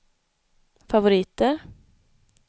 favoriter